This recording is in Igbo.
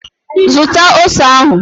Zụta ose ahụ!